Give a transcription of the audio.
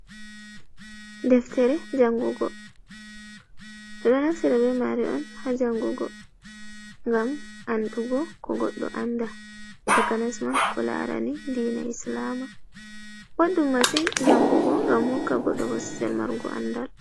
Deftere jangugo. Ɓe ɗo naftira be maare on haa jangugo, ngam andugo ko goɗɗo andaa, takanas ma ko laarani diina islama. Boɗɗum masin jangugo, ngam hokka goɗɗo bososel marugo andal.